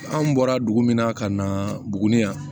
Anw bɔra dugu min na ka na buguni yan